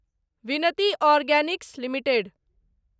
Vinati organics limited